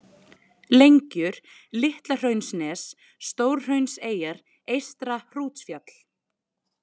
Lengjur, Litlahraunsnes, Stórhraunseyjar, Eystra-Hrútsfjall